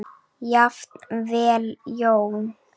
Jafnvel Jón